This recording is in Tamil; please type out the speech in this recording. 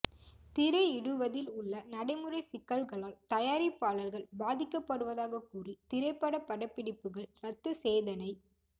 திரையிடுவதில் உள்ள நடைமுறை சிக்கல்களால் தயாரிப்பாளர்கள் பாதிக்கபடுவதாக கூறி திரைப்பட படப்பிடிப்புகள் ரத்து செய்தனை